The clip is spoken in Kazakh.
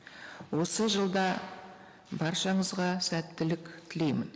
осы жылда баршаңызға сәттілік тілеймін